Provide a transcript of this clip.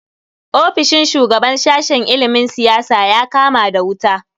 Ofishin shugaban sashen ilimin siyasa ya kama da wuta.